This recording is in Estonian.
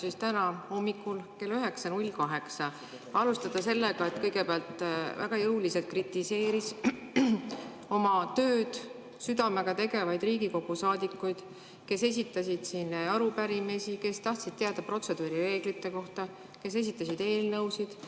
Aga täna hommikul kell 9.08 alustas ta kõigepealt sellega, et kritiseeris väga jõuliselt oma tööd südamega tegevaid Riigikogu saadikuid, kes esitasid siin arupärimisi, kes tahtsid teada protseduurireeglite kohta, kes esitasid eelnõusid.